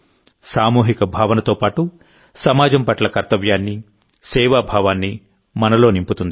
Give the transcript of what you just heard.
సామూహిక భావనతో పాటుసమాజం పట్ల కర్తవ్యాన్ని సేవా భావాన్ని మనలో నింపుతుంది